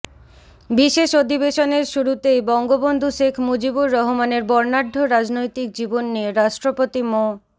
বিশেষ অধিবেশনের শুরুতেই বঙ্গবন্ধু শেখ মুজিবুর রহমানের বর্ণাঢ্য রাজনৈতিক জীবন নিয়ে রাষ্ট্রপতি মো